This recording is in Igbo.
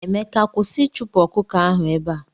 Emeka kwụsị ichupu ọkụkọ ahụ ebea!!!!.